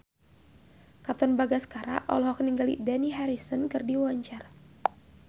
Katon Bagaskara olohok ningali Dani Harrison keur diwawancara